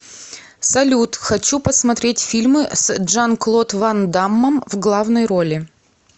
салют хочу посмотреть фильмы с джан клод ван даммом в главной роли